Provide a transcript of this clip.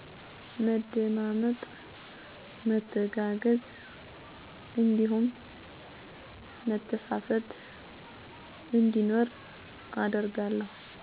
መደማመጥ፣ መተጋገዝ እንዲሁም መተሳሰብ እንዲኖር አደርጋለሁ።